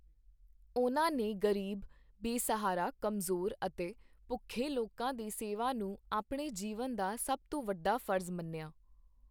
ਉਨ੍ਹਾਂ ਨੇ ਗ਼ਰੀਬ, ਬੇਸਹਾਰਾ, ਕਮਜ਼ੋਰ ਅਤੇ ਭੁੱਖੇ ਲੋਕਾਂ ਦੀ ਸੇਵਾ ਨੂੰ ਆਪਣੇ ਜੀਵਨ ਦਾ ਸਭ ਤੋਂ ਵੱਡਾ ਫ਼ਰਜ਼ ਮੰਨਿਆ।